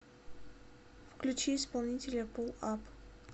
включи исполнителя пул ап